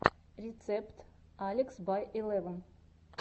рецепт алекс бай илевн